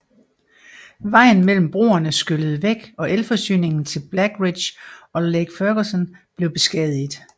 Vejen mellem broerne skyllede væk og elforsyningen til Blackridge og Lake Ferguson blev beskadiget